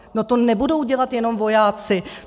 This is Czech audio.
No to nebudou dělat jenom vojáci.